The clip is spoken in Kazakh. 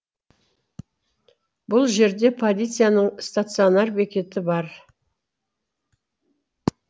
бұл жерде полицияның стационар бекеті бар